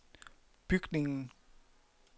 bygningen